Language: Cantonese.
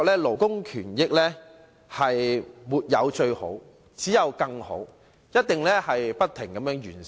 勞工權益，沒有最好，只有更好，須不停完善。